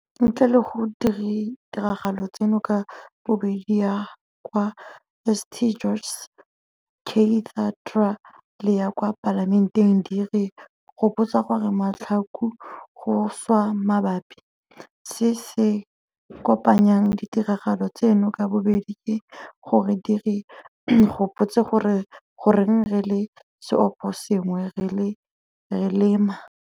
Ntle le gore ditiragalo tseno ka bobedi ya kwa St George's Cathedra le ya kwa Palamenteng di re gopotsa gore matlhaku go šwa mabapi, se se kopanyang ditiragalo tseno ka bobedi ke gore di re gopotsa gore goreng re le seoposengwe re le ma.